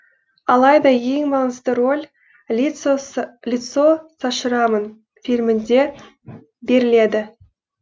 алайда ең маңызды рөл лицо со шрамам фильмінде беріледі